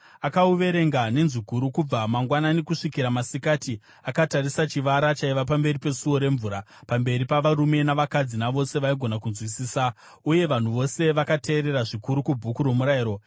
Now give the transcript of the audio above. Akauverenga nenzwi guru kubva mangwanani kusvikira masikati, akatarisa chivara chaiva pamberi peSuo reMvura, pamberi pavarume navakadzi navose vaigona kunzwisisa. Uye vanhu vose vakateerera zvikuru kuBhuku roMurayiro.